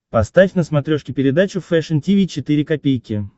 поставь на смотрешке передачу фэшн ти ви четыре ка